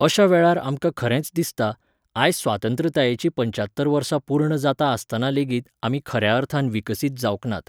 अशा वेळार आमकां खरेंच दिसता, आयज स्वतंत्रतायेची पंचात्तर वर्सां पूर्ण जाता आसतना लेगीत आमी खऱ्या अर्थान विकसीत जावंक नात